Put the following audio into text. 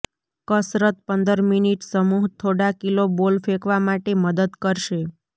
કસરત પંદર મિનિટ સમૂહ થોડા કિલો બોલ ફેંકવા માટે મદદ કરશે